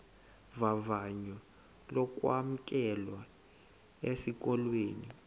vavanyo lokwamkelwa esikolweni